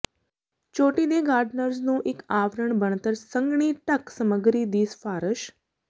ਚੋਟੀ ਦੇ ਗਾਰਡਨਰਜ਼ ਨੂੰ ਇੱਕ ਆਵਰਣ ਬਣਤਰ ਸੰਘਣੀ ਢੱਕ ਸਮੱਗਰੀ ਦੀ ਸਿਫਾਰਸ਼